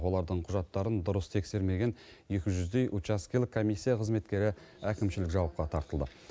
олардың құжаттарын дұрыс тексермеген екі жүздей учаскелік комиссия қызметкері әкімшілік жауапқа тартылды